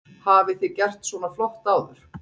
Hafi þið gert svona flott áður?